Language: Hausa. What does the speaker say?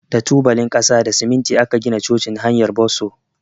Da tubalin kasa da siminti aka gina cocin hanyar Bosso.